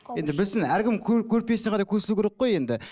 енді білсін әркім көрпесіне қарай көсілу керек қой енді